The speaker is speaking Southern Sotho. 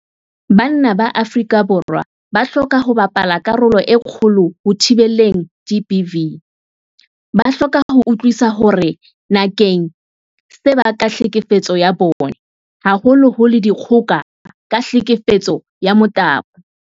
Banna ba Afrika Borwa ba hloka ho bapala karolo e kgolo ho thibeleng GBV. Ba hloka ho utlwisisa hore na keng se bakang tlhekefetso ya bong, haholoholo dikgoka ka tlhekefetso ya motabo.